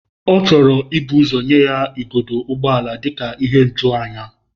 Ọ chọrọ ibu ụzọ nye ya igodo ụgbọ ala dị ka ihe ijuanya.